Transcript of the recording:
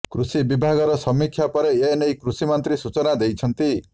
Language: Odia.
କୃଷି ବିଭାଗର ସମୀକ୍ଷା ପରେ ଏନେଇ କୃଷି ମନ୍ତ୍ରୀ ସୂଚନା ଦେଇଛନ୍ତି